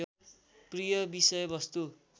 प्रिय विषयवस्तु